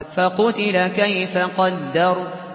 فَقُتِلَ كَيْفَ قَدَّرَ